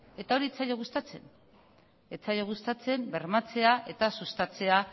eta hori ez zaio gustatzen ez zaio gustatzen bermatzea eta sustatzea